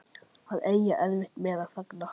Að eiga erfitt með að þagna